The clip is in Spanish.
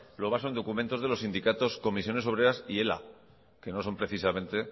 lo basa en documentos de los sindicatos comisiones obreras y ela que no son precisamente